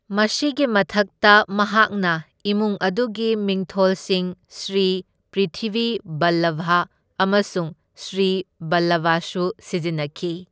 ꯃꯁꯤꯒꯤ ꯃꯊꯛꯇ ꯃꯍꯥꯛꯅ ꯏꯃꯨꯡ ꯑꯗꯨꯒꯤ ꯃꯤꯡꯊꯣꯜꯁꯤꯡ ꯁ꯭ꯔꯤ ꯄ꯭ꯔꯤꯊꯤꯚꯤ ꯚꯜꯂꯚꯥ ꯑꯃꯁꯨꯡ ꯁ꯭ꯔꯤ ꯕꯜꯂꯚꯁꯨ ꯁꯤꯖꯤꯟꯅꯈꯤ꯫